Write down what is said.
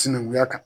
Sinankunya kan